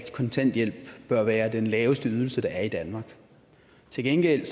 kontanthjælpen bør være den laveste ydelse der er i danmark til gengæld